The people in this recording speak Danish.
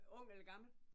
Ung eller gammel?